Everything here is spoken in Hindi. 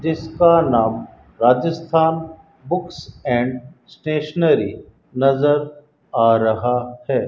जिसका नाम राजस्थान बुक्स एंड स्टेशनरी नजर आ रहा है।